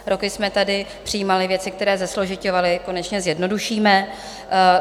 Roky jsme tady přijímali věci, které zesložiťovaly, konečně zjednodušíme.